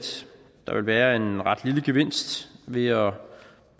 der vil være en ret lille gevinst ved at